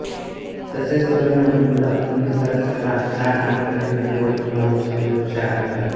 तसेच कर्णे उमलो अमी सरस कलाम चाळ आणि कधीकधी वड किंवा वृक्षाचे वृक्ष आढळतात